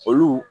Olu